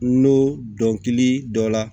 N'o dɔnkili dɔ la